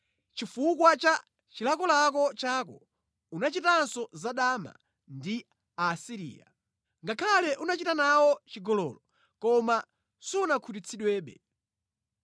Chifukwa cha chilakolako chako unachitanso zadama ndi Aasiriya. Ngakhale unachita nawo chigololo koma sunakhutitsidwebe.